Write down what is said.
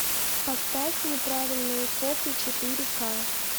поставь неправильные копы четыре ка